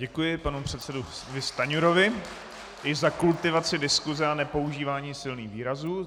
Děkuji panu předsedovi Stanjurovi i za kultivaci diskuse a nepoužívání silných výrazů.